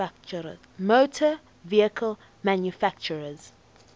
motor vehicle manufacturers